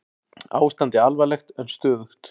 Ástandið alvarlegt en stöðugt